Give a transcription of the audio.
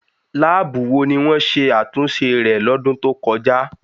Láàbù wo ni wọ́n ṣe àtúnṣe rẹ̀ lọ́dún tó kọjá?